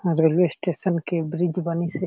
railway station के bridge बनिसे --